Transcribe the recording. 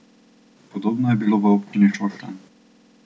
Podobno je bilo v občini Šoštanj.